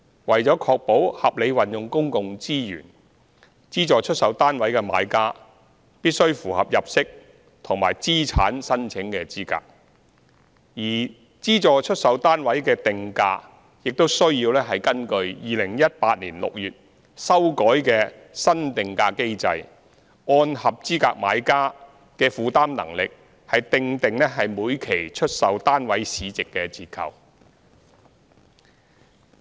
為了確保合理運用公共資源，資助出售單位的買家必須符合入息及資產申請資格，而資助出售單位的定價，亦須根據2018年6月修改的新定價機制，按合資格買家的負擔能力訂定每期出售單位市值的折扣。